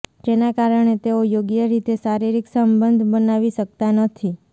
જેના કારણે તેઓ યોગ્ય રીતે શારીરિક સંબંધ બનાવી શકતા નથી